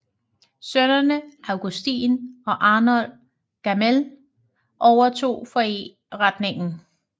Sønnene Augustin og Arnold Gamél overtog forretningen